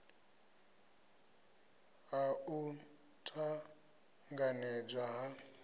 ha u t anganedzwa ha